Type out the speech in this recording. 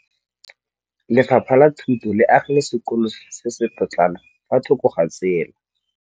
Lefapha la Thuto le agile sekôlô se se pôtlana fa thoko ga tsela.